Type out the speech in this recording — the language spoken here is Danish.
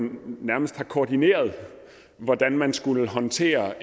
nærmest har koordineret hvordan man skulle håndtere